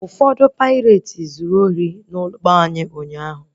Ọtụtụ paireti zuru ori na ụgbọ anyị ụnyaahụ